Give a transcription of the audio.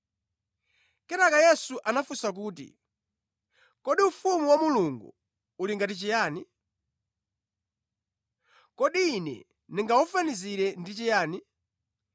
Kenaka Yesu anafunsa kuti, “Kodi ufumu wa Mulungu uli ngati chiyani? Kodi Ine ndingawufanizire ndi chiyani?